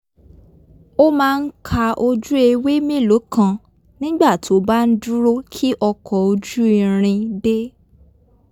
ó máa ń ka ojú ewé mélòó kan nígbà tó bá ń dúró ki ọkọ̀-ojú-irin dé